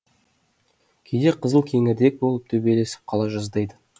кейде қызыл кеңірдек болып төбелесіп қала жаздайды